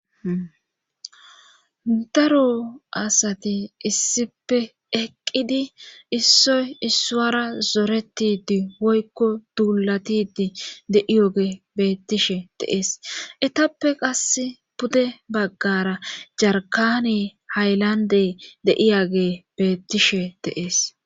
Daro asati issipe eqqidi issoy issuara zoretidi woykko duulatidi de7iyoge bettishe de7es etappe qas pude baggara jarkani haylandey deiyage beettishe de'ees.